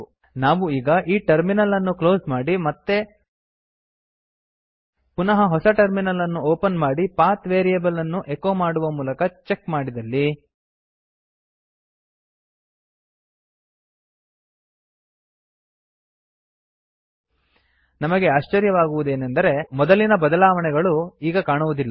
ನಾವು ಈಗ ಈ ಟರ್ಮಿನಲ್ ಅನ್ನು ಕ್ಲೋಸ್ ಮಾಡಿ ಮತ್ತೆ ಪುನಃ ಹೊಸ ಟರ್ಮಿನಲ್ ಅನ್ನು ಓಪನ್ ಮಾಡಿ ಪಾತ್ ವೇರಿಯೇಬಲ್ ಅನ್ನು ಎಕೋ ಮಾಡುವದರ ಮೂಲಕ ಚೆಕ್ ಮಾಡಿದಲ್ಲಿ ನಮಗೆ ಆಶ್ಚರ್ಯವಾಗುವುದೆಂದರೆ ಮೊದಲಿನ ಬದಲಾವಣೆಗಳು ಈಗ ಕಾಣುವುದಿಲ್ಲ